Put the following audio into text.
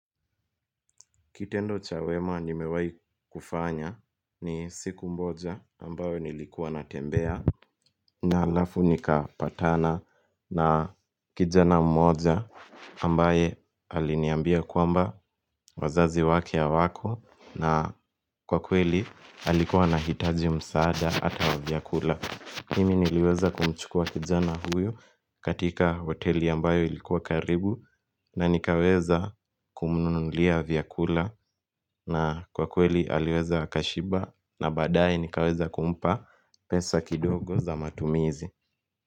Kitendo cha wema nimewai kufanya ni siku mboja ambayo nilikuwa natembea Nalafu nikapatana na kijana mmoja ambaye aliniambia kwamba wazazi wake hawako na kwa kweli alikuwa na hitaji msaada ata wa vyakula mimi niliweza kumchukua kijana huyo katika hoteli ambayo ilikuwa karibu na nikaweza kumununulia vyakula na kwa kweli aliweza akashiba na badae nikaweza kumpa pesa kidogo za matumizi.